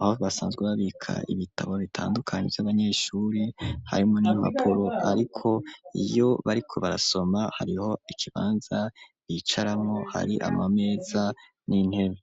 aho basanzwe babika, ibitabo bitandukanye, vy'abanyeshuri, harimwo n'impapuro; ariko, iyo bariko barasoma, hariho ikibanza, bicaramwo; hari amameza, n'intebe.